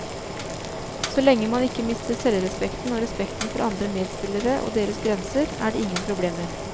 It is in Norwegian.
Så lenge man ikke mister selvrespekten og respekten for andre medspillere og deres grenser, er det ingen problemer.